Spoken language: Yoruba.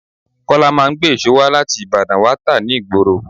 Kọ́lá máa ń gbé èso wá láti Ìbàdàn wá tá ni ìgboro.